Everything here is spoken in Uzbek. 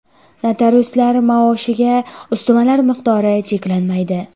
Notariuslar maoshiga ustamalar miqdori cheklanmaydi.